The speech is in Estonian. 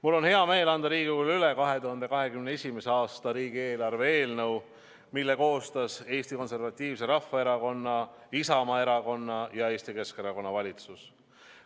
Mul on hea meel anda Riigikogule üle 2021. aasta riigieelarve eelnõu, mille koostas Eesti Konservatiivse Rahvaerakonna, Isamaa Erakonna ja Eesti Keskerakonna valitsus.